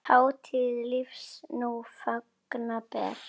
Hátíð lífs nú fagna ber.